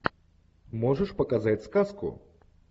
можешь показать сказку